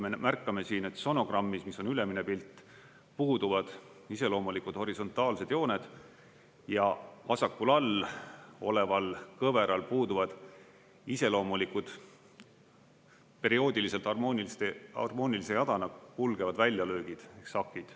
Me märkame siin, et sonogrammis, mis on ülemine pilt, puuduvad iseloomulikud horisontaalsed jooned, ja vasakul all oleval kõveral puuduvad iseloomulikud perioodiliselt harmoonilise jadana kulgevad väljalöögid ehk sakid.